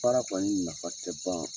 Fara kɔni nafa tɛ ban